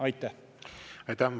Aitäh!